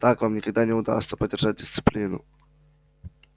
так вам никогда не удастся поддержать дисциплину